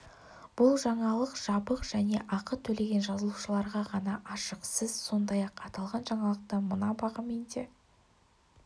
бұл жаңалық жабық және ақы төлеген жазылушыларға ғана ашық сіз сондай-ақ аталған жаңалықты мына бағамен де